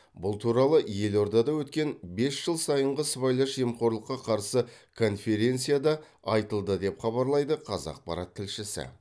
бұл туралы елордада өткен бес жыл сайынғы сыбайлас жемқорлыққа қарсы конференцияда айтылды деп хабарлайды қазақпарат тілшісі